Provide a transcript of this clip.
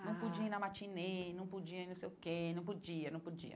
Não podia ir na matinee, não podia ir no sei o quê, não podia, não podia.